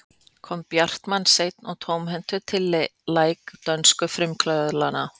kom bjartmar seinn og tómhentur til læk dönsku frumkvöðlana